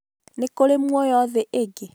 nikuri muoyo thĩ ingĩ?